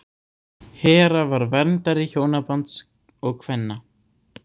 Hera var verndari hjónabands og kvenna.